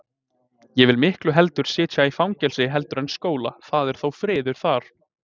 Ég vil miklu heldur sitja í fangelsi heldur en skóla, það er þó friður þar.